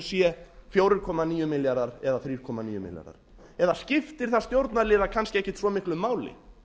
sé fjóra komma níu milljarðar eða þrjú komma níu milljarðar eða skiptir það stjórnarliða kannski ekkert svo miklu máli